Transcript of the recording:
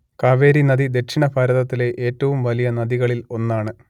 കാവേരി നദി ദക്ഷിണ ഭാരതത്തിലെ എറ്റവും വലിയ നദികളിൽ ഒന്നാണ്